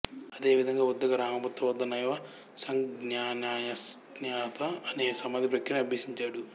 అదే విధంగా ఉద్దక రామపుత్త వద్ద నైవసంజ్ఞాన్యాసజ్ఞాయత అనే సమాధి ప్రక్రియను అభ్యసించాడు